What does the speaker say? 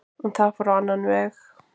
En það fór á annan veg